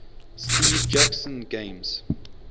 steve jackson games